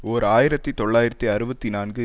ஓர் ஆயிரத்தி தொள்ளாயிரத்து அறுபத்தி நான்கு